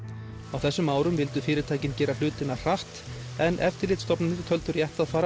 á þessum árum vildu fyrirtækin gera hlutina hratt en eftirlitsstofnanir töldu rétt að fara